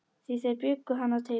Því þeir bjuggu hann til.